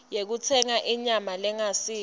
yekutsenga inyama lengasiyo